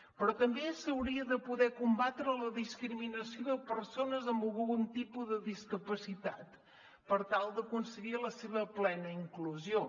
però també s’hauria de poder combatre la discriminació de persones amb algun tipus de discapacitat per tal d’aconseguir la seva plena inclusió